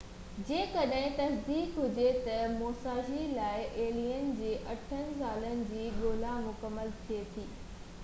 جيڪڏهن تصديق هجي ته موساشي لاءِ الين جي اٺن سالن جي ڳولا مڪمل ٿئي ٿي